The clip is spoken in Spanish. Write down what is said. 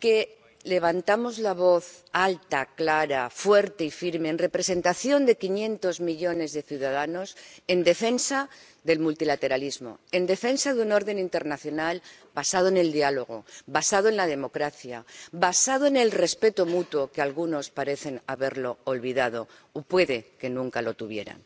que levantamos la voz alta clara, fuerte y firme en representación de quinientos millones de ciudadanos en defensa del multilateralismo, en defensa de un orden internacional basado en el diálogo, basado en la democracia, basado en el respeto mutuo que algunos parecen haber olvidado —o puede que nunca lo tuvieran—.